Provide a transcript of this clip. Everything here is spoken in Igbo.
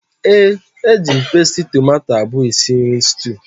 ee, eji m pasti tomato abụọ esi nri stew